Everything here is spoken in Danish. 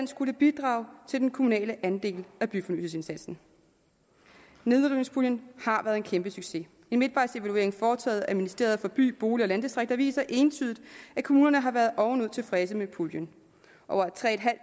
skulle bidrage til den kommunale andel af byfornyelsesindsatsen nedrivningspuljen har været en kæmpe succes en midtvejsevaluering foretaget af ministeriet for by bolig og landdistrikter viser entydigt at kommunerne har været ovenud tilfredse med puljen over tre